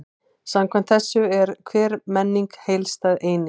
Samkvæmt þessu er hver menning heildstæð eining.